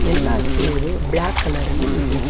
ಎಲ್ಲಾ chair black colour ರಲ್ಲಿ ಇದೆ.